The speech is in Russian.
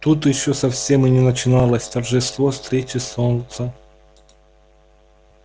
тут ещё совсем и не начиналось торжество встречи солнца